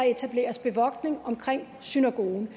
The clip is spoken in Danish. etableret bevogtning omkring synagogen